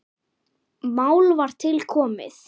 Mál var til komið.